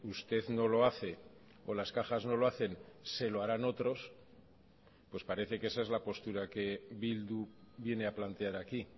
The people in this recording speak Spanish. usted no lo hace o las cajas no lo hacen se lo harán otros pues parece que esa es la postura que bildu viene a plantear aquí